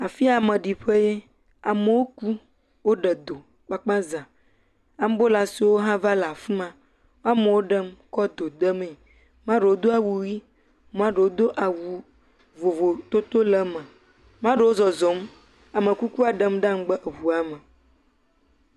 Afi ya maeɖiƒee. Amewo kum, woɖe do kpkpa za. Ambulasiwo hã va le afi ma. Amewo ɖem kɔ do de mee. Amea ɖewo do awu ʋi, amea ɖewo do awu vovototo le eme. Amea ɖewo zɔzɔm. Ame kukua ɖem ɖe megbe eŋua me.